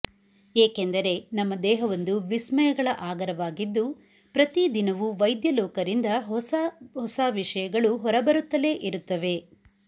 ಏಕೆಂದರೆ ನಮ್ಮ ದೇಹವೊಂದು ವಿಸ್ಮಯಗಳ ಆಗರವಾಗಿದ್ದು ಪ್ರತಿದಿನವೂ ವೈದ್ಯಲೋಕರಿಂದ ಹೊಸ ಹೊಸ ವಿಷಯಗಳು ಹೊರಬರುತ್ತಲೇ ಇರುತ್ತವೆ